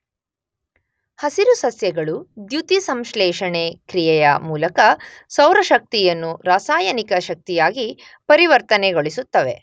ಹಸಿರು ಸಸ್ಯಗಳು ದ್ಯುತಿ ಸಂಶ್ಲೇಷಣೆ ಕ್ರಿಯೆಯ ಮೂಲಕ ಸೌರ ಶಕ್ತಿಯನ್ನು ರಾಸಾಯನಿಕ ಶಕ್ತಿಯಾಗಿ ಪರಿವರ್ತನೆಗೊಳಿಸುತ್ತವೆ